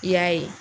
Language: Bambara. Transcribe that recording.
I y'a ye